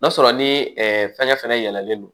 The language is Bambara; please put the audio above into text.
N'a sɔrɔ ni fɛngɛ fɛnɛ yɛlɛnen don